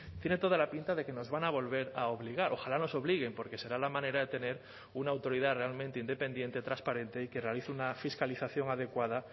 tiene toda la pinta de que nos van a volver a obligar ojalá nos obliguen porque será la manera de tener una autoridad realmente independiente transparente y que realice una fiscalización adecuada